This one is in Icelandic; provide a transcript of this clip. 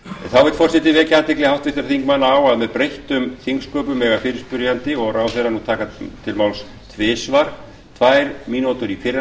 þá vill forseti vekja athygli háttvirtra þingmanna á að með breyttum þingsköpum mega fyrirspyrjandi og ráðherra nú taka til máls tvisvar tvær mínútur í fyrra